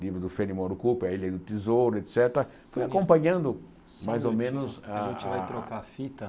livro do Cooper, a ilha do Tesouro, et cétera, fui acompanhando mais ou menos a a... A gente vai trocar a fita.